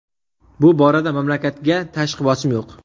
Bu borada mamlakatga tashqi bosim yo‘q.